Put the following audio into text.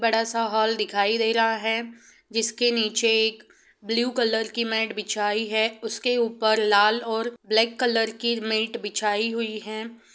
बड़ा सा हॉल दिखाई दे रहा है जिसके नीचे एक ब्लू कलर की मेंट बिछाई है उसके ऊपर लाल और ब्लैक कलर की मेंट बिछाई हुई है।